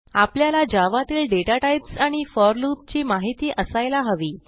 आपल्याला जावा तील data types आणि फोर लूप ची माहिती असायला हवी